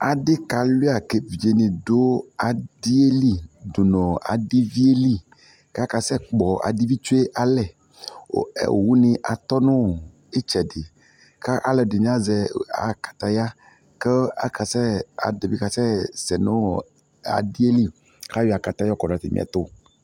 Adikalia kevidzedini dʊ adiɛ nu adivieli akeno ivi tsue alɛ owudini atɔya nitsɛdi aluɛdini bi azɛ kataya asɛsɛnu adi yɛli ayɔ kataya yɔkɔ du atami ɛtʊ